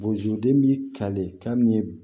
Bozoden bi kale ka min ye